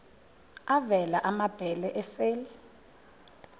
avela amabele esel